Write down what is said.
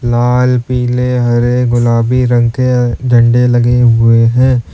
लाल पीले हरे गुलाबी रंग के अह झंडे लगे हुए हैं।